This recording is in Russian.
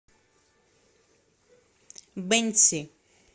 бэньси